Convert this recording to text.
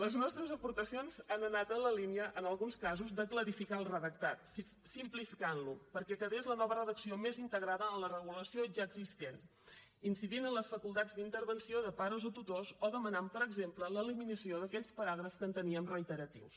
les nostres aportacions han anat en la línia en alguns casos de clarificar el redactat simplificant lo perquè quedés la nova redacció més integrada en la regulació ja existent incidint en les facultats d’intervenció de pares o tutors o demanant per exemple l’eliminació d’aquells paràgrafs que enteníem reiteratius